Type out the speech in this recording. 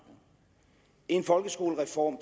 en folkeskolereform